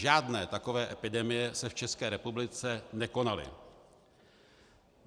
Žádné takové epidemie se v České republice nekonaly.